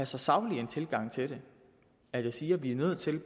så saglig tilgang til det at jeg siger at vi er nødt til